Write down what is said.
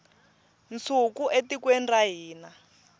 nsuku etikweni ra hina